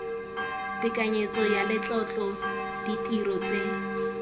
tekanyetso ya letlotlo ditiro tse